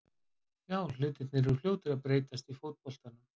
Já, hlutirnir eru fljótir að breytast í fótboltanum.